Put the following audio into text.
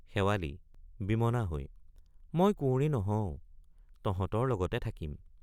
শেৱালি— বিমনা হৈ মই কুঁৱৰী নহওঁ তহঁতৰ লগতে থাকিম।